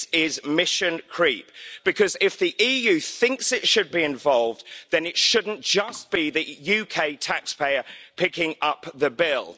This is mission creep, because if the EU thinks it should be involved then it shouldn't just be the UK taxpayer picking up the bill.